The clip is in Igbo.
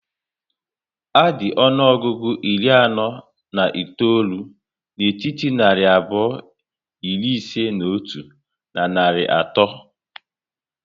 A dị ọnụọgụgụ iri anọ na itoolu n'etiti narị abụọ iri ise n'otu na narị ato